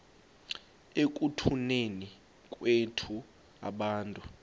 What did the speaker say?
ekutuneni kwethu abantu